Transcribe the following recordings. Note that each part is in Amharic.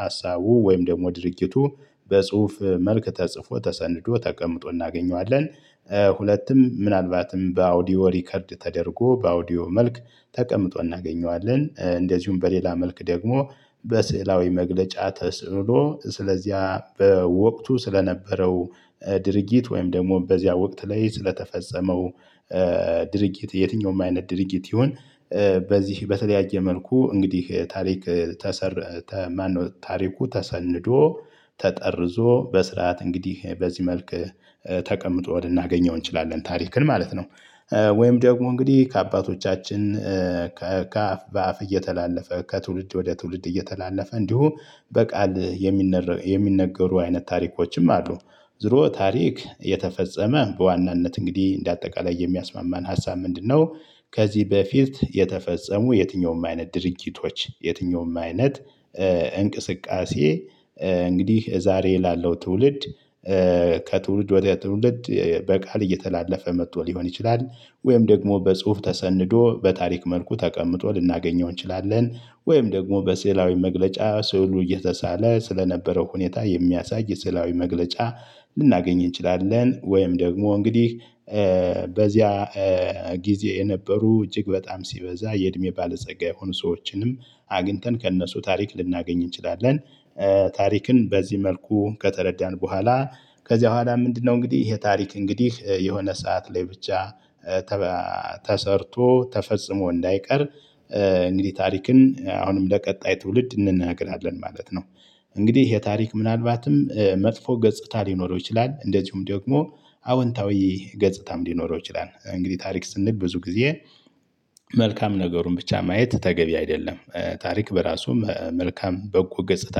ሀሳቡ ወይም ደግሞ ድርጊቱ በጽሁፍ መልክ ተጽፎ ተሰንዶ ተቀምጦ እናገኘዋለን። ሁለትም ምናልባትም በአውዲዮ ሪከርድ ተደርጎ በአውዲዮ መልክ ተቀምጦ እናገኘዋለን። እንደዚሁም በሌላ መልክ ደግሞ በስዕላዊ መግለጫ ተስዕሎ ስለዚያ በወቅቱ ስለነበረው ድርጊት ወይም ደግሞ በዚያ ወቅት ላይ ስለተፈጸመው ድርጊት የትኛውም አይነት ድርጊት ይሁን። በዚህ በተለያየ መልኩ እንግዲህ ታሪክ። ታሪኩ ተሰንዶ ተጠርዞ በስርዓት እንግዲህ በዚህ መልክ ተቀምጦ ልናገኘው እንችላለን ታሪክን ማለት ነው። ወይም ደግሞ እንግዲህ ከአባቶቻችን ከአፍ በአፍ እየተላለፈ ከትውልድ ወደ ትውልድ እየተላለፈ እንዲሁም በቃል የሚነገሩ አይነት ታሪኮችም አሉ። ዞሮ ታሪክ የተፈጸመ በዋናነት እንግዲህ እንደ አጠቃላይ የሚያስማማን ሀሳብ ምንድነው? ከዚህ በፊት የተፈጸሙ የትኛውም አይነት ድርጊቶች የትኛውም አይነት እንቅስቃሴ እንግዲህ ዛሬ ላለው ትውልድ ከትውልድ ወደ ትውልድ በቃል እየተላለፈ መጥቶ ሊሆን ይችላል። ወይም ደግሞ በጽሁፍ ተሰንዶ በታሪክ መልኩ ተቀምጦ ልናገኘው እንችላለን። ወይም ደግሞ በስዕላዊ መግለጫ ስዕሉ እየተሳለ ስለነበረው ሁኔታ የሚያሳይ ስዕላዊ መግለጫ ልናገኝ እንችላለን። ወይም ደግሞ እንግዲህ በዚያ ጊዜ የነበሩ እጅግ በጣም ሲበዛ የእድሜ ባለጸጋ የሆኑ ሰዎችንም አግኝተን ከእነሱ ታሪክ ልናገኝ እንችላለን። ታሪክን በዚህ መልኩ ከተረዳን በኋላ ከዚያ በኋላ ምንድነው? እንግዲህ ይሄ ታሪክ እንግዲህ የሆነ ሰዓት ላይ ብቻ ተሰርቶ ተፈጽሞ እንዳይቀር እንግዲህ ታሪክን አሁንም ለቀጣይ ትውልድ እንነግራለን ማለት ነው። እንግዲህ ይሄ ታሪክ ምናልባትም መጥፎ ገጽታ ሊኖረው ይችላል እንደዚሁም ደግሞ አወንታዊ ገጽታም ሊኖረው ይችላል። እንግዲህ ታሪክ ስንግ ብዙ ጊዜ መልካም ነገሩን ብቻ ማየት ተገቢ አይደለም። ታሪክ በራሱ መልካም በጎ ገጽታ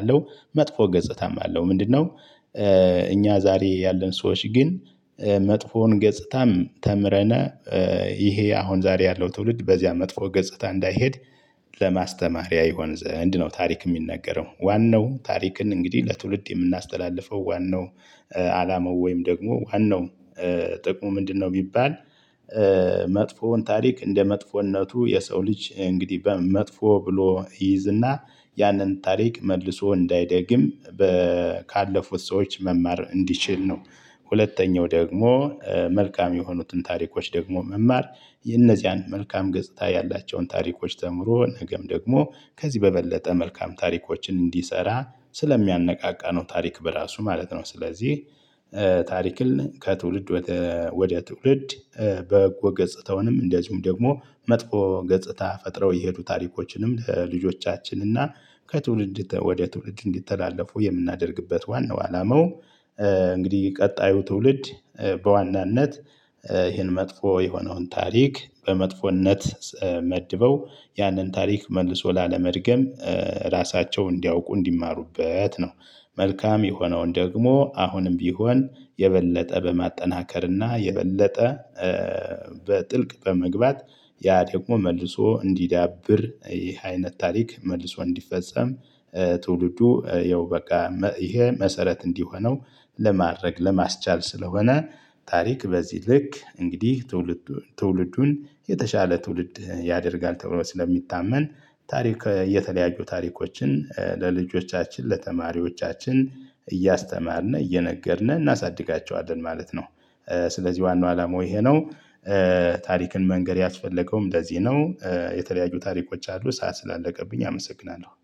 አለው መጥፎ ገጽታም አለው ምንድነው? እኛ ዛሬ ያለን ሰዎች ግን መጥፎውን ገጽታም ተምረን ይሄ አሁን ዛሬ ያለው ትውልድ በዚያ መጥፎ ገጽታ እንዳይሄድ ለማስተማሪያ ይሆን ዘንድ ነው። ታሪክ የሚነገረው ዋናው ታሪክን እንግዲህ ለትውልድ የምናስተላልፈው ዋናው አላማው ወይም ደግሞ ዋናው ጥቅሙ ምንድነው ቢባል? መጥፎውን ታሪክ እንደ መጥፎነቱ የሰው ልጅ እንግዲህ መጥፎ ብሎ ይይዝና ያንን ታሪክ መልሶ እንዳይደግም ካለፉት ሰዎች መማር እንዲችል ነው። ሁለተኛው ደግሞ መልካም የሆኑትን ታሪኮች ደግሞ መማር የነዚያን መልካም ገጽታ ያላቸውን ታሪኮች ተምሮ ነገም ደግሞ ከዚህ በበለጠ መልካም ታሪኮችን እንዲሰራ ስለሚያነቃቃ ነው። ታሪክ በራሱ ማለት ነው። ስለዚህ ታሪክን ከትውልድ ወደ ትውልድ በጎ ገጽታውንም እንደዚሁም ደግሞ መጥፎ ገጽታ ፈጥረው የሄዱ ታሪኮችንም ለልጆቻችን እና ከትውልድ ወደ ትውልድ እንዲተላለፉ የምናደርግበት ዋናው አላማው። እንግዲህ ቀጣዩ ትውልድ በዋናነት ይህን መጥፎ የሆነውን ታሪክ በመጥፎነት መድበው ያንን ታሪክ መልሶ ላለመድገም ራሳቸው እንዲያውቁ እንዲማሩበት ነው። መልካም የሆነውን ደግሞ አሁንም ቢሆን የበለጠ በማጠናከርና የበለጠ በጥልቅ በመግባት ያ ደግሞ መልሶ እንዲዳብር ይህ አይነት ታሪክ መልሶ እንዲፈጸም ትውልዱ ያው በቃ ይሄ መሰረት እንዲሆነው ለማድረግ ለማስቻል ስለሆነ። ታሪክ በዚህ ልክ እንግዲህ ትውልዱን የተሻለ ትውልድ ያደርጋል ተብሎ ስለሚታመን። ታሪክ የተለያዩ ታሪኮችን ለልጆቻችን ለተማሪዎቻችን እያስተማርነ እየነገርን እናሳድጋቸዋለን ማለት ነው። ስለዚህ ዋናው አላማው ይሄ ነው። ታሪክን መንገር ያስፈለገውም ለዚህ ነው የተለያዩ ታሪኮች አሉ ሰዓት ስላለቀብኝ አመሰግናለሁ